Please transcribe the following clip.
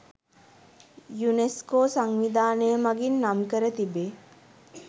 UNESCO සංවිධානය මඟින් නම් කර තිබේ.